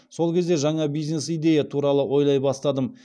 сол кезде жаңа бизнес идея туралы ойлай бастадым